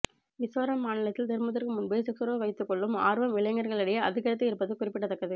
மிசோரம் மாநிலத்தில் திருமணத்துக்கு முன்பே செக்ஸ் உறவு வைத்து கொள்ளும் ஆர்வம் இளைஞர்களி டையே அதிகரித்து இருப்பது குறிப்பிடத்தக்கது